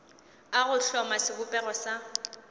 a go hloma sebopego sa